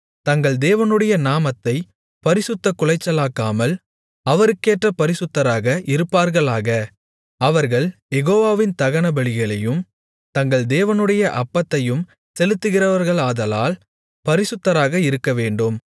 தங்கள் தேவனுடைய நாமத்தைப் பரிசுத்தக் குலைச்சலாக்காமல் அவருக்கேற்ற பரிசுத்தராக இருப்பார்களாக அவர்கள் யெகோவாவின் தகனபலிகளையும் தங்கள் தேவனுடைய அப்பத்தையும் செலுத்துகிறவர்களாதலால் பரிசுத்தராக இருக்கவேண்டும்